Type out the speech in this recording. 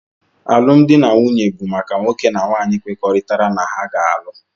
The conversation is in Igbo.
Alụmdi na nwunye bụ maka nwoke na nwaanyị kwekoritara na ha ga-alụ